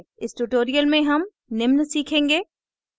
इस tutorial में हम निम्न सीखेंगे